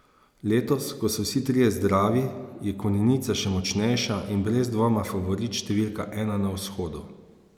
Letos, ko so vsi trije zdravi, je Konjenica še močnejša in brez dvoma favorit številka ena na Vzhodu.